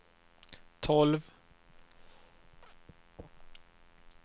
tolv